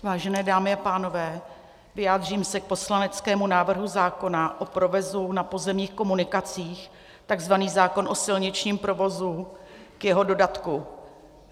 Vážené dámy a pánové, vyjádřím se k poslaneckému návrhu zákona o provozu na pozemních komunikacích, tzv. zákon o silničním provozu, k jeho dodatku.